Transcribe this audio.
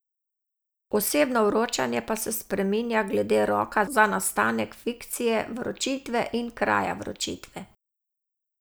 Osebno vročanje pa se spreminja glede roka za nastanek fikcije vročitve in kraja vročitve.